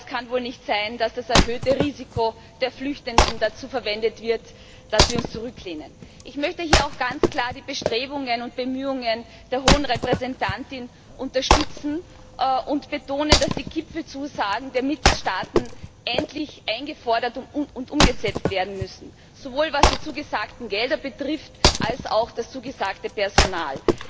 Aber es kann wohl nicht sein, dass das erhöhte Risiko der Flüchtenden dazu verwendet wird, dass wir uns zurücklehnen. Ich möchte hier auch ganz klar die Bestrebungen und Bemühungen der Hohen Vertreterin unterstützen und betonen, dass die Gipfelzusagen der Mitgliedstaaten endlich eingefordert und umgesetzt werden müssen sowohl was die zugesagten Gelder betrifft als auch das zugesagte Personal.